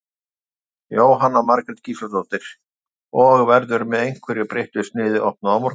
Jóhanna Margrét Gísladóttir: Og, verður með einhverju breyttu sniði opnað á morgun?